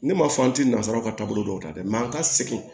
Ne ma fɔ an ti nasara ka taa bolo dɔw ta dɛ an ka segin